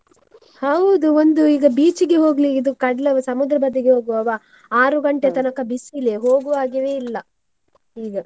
ಹೌದು ಒಂದು ಈಗ beach ಇಗೆ ಹೋಗ್ಲಿ ಇದು ಕಡ್ಲು ಸಮುದ್ರ ಬದಿಗೆ ಹೋಗುವವಾ, ಆರು ಗಂಟೆ ಬಿಸಿಲೇ ಹೋಗುವ ಹಾಗೆವೆ ಇಲ್ಲ ಈಗ.